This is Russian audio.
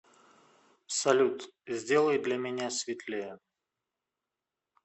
салют сделай для меня светлее